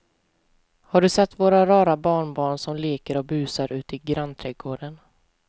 Har du sett våra rara barnbarn som leker och busar ute i grannträdgården!